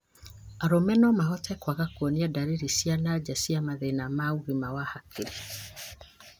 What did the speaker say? Arũme no mahote kũaga kuonia ndariri cia nanja cia mathĩna ya ũgima wa hakiri,